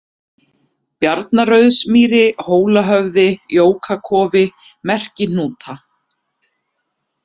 Bjarnarrauðsmýri, Hólahöfði, Jókakofi, Merkihnúta